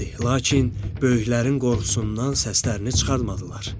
Lakin böyüklərin qorxusundan səslərini çıxartmadılar.